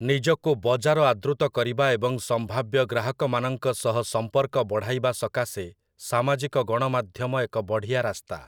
ନିଜକୁ ବଜାର ଆଦୃତ କରିବା ଏବଂ ସମ୍ଭାବ୍ୟ ଗ୍ରାହକମାନଙ୍କ ସହ ସମ୍ପର୍କ ବଢ଼ାଇବା ସକାଶେ ସାମାଜିକ ଗଣମାଧ୍ୟମ ଏକ ବଢ଼ିଆ ରାସ୍ତା ।